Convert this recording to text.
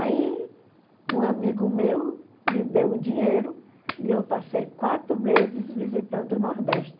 Aí, um amigo meu me deu um dinheiro e eu passei quatro meses visitando o Nordeste.